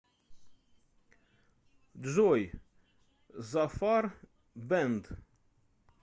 джой зафар бэнд